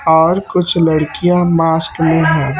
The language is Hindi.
और कुछ लड़कियाँ मास्क मे है।